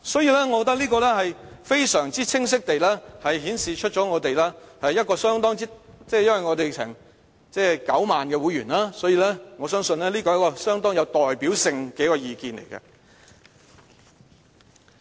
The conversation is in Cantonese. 因此，我覺得這是非常清晰地顯示......因為我們有9萬名會員，所以我相信這是一個相當有代表性的意見。